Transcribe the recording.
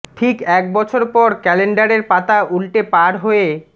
ঠিক এক বছর পর ক্যালেন্ডারের পাতা উল্টে পার হয়ে